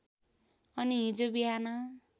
अनि हिजो बिहान